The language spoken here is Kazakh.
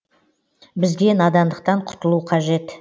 бізге надандықтан құтылу қажет